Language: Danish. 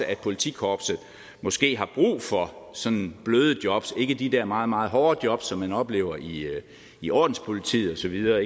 at politikorpset måske har brug for sådan bløde jobs ikke de der meget meget hårdt jobs som man oplever i i ordenspolitiet og så videre